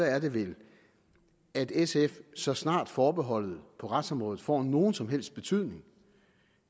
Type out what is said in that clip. er det vel at sf så snart forbeholdet på retsområdet får nogen som helst betydning